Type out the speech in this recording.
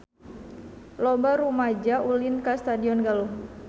Loba rumaja ulin ka Stadion Galuh